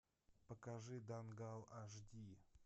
покажи дангал аш ди